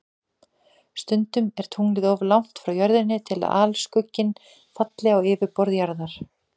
Stundum er tunglið of langt frá Jörðinni til að alskugginn falli á yfirborð Jarðar.